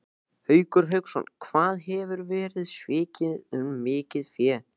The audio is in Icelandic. Haukur Hauksson: Hvað hefurðu verið svikinn um mikið fé?